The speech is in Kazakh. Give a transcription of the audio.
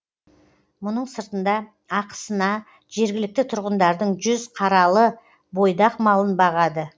мұның сыртында ақысына жергілікті тұрғындардың жүз қаралы бойдақ малын бағады